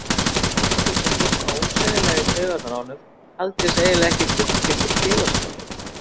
Þessi drengur, sem fór svona ósegjanlega í taugarnar á honum, taldist eiginlega ekki fullgildur félagsskapur.